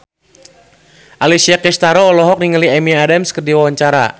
Alessia Cestaro olohok ningali Amy Adams keur diwawancara